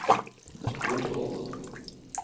Notodden